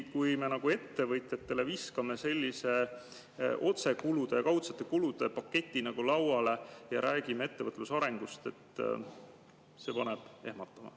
Kui me viskame ettevõtjatele sellise otsekulude ja kaudsete kulude paketi lauale ja räägime ettevõtluse arengust, siis see paneb ehmuma.